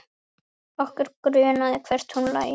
Okkur grunaði hvert hún lægi.